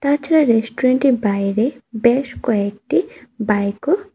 তাছাড়া রেস্টুরেন্টের এর বাইরে বেশ কয়েকটি বাইকও ও --